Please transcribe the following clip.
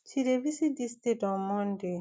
she dey visit dis state on monday